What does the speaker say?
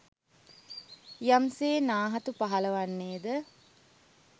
යම්සේ නාහතු පහළ වන්නේද